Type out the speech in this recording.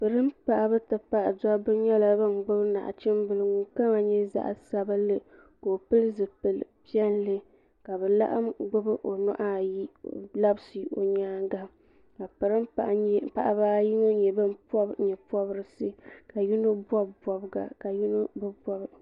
polin paɣaba ti pahi dabba nyɛla bin gbubi nachimbili ŋun kama nyɛ zaɣ sabinli ka o pili zipili piɛlli ka bi laɣam gbubi o nuhu ayi n labisi o nyaanga ka polin paɣaba ayi ŋɔ nyɛ bin pobi nyɛ pobirisi ka yino bob bobga ka yino bi bob